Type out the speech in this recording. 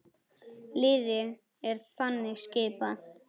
Liðið er þannig skipað